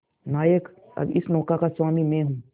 नायक अब इस नौका का स्वामी मैं हूं